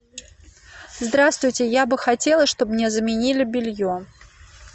здравствуйте я бы хотела чтобы мне заменили белье